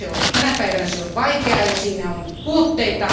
Tänä päivänä se on vaikeaa ja siinä on puutteita.